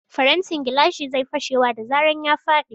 Farantin gilashi zai fashewa da zaran ya faɗi.